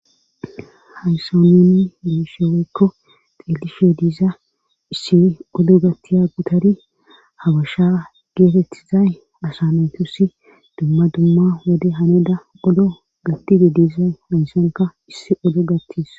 hayssa nuni be7ishe woykko xeelishe diza issi odo gattiya gutari habasha geetettizay asa naytusi dumma dumma wode hanida odo gattide diza haysanka issi odo gattis.